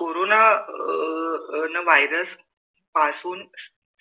corona अं अअअ Virus पासून